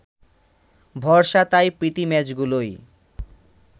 ভরসা তাই প্রীতি ম্যাচগুলোই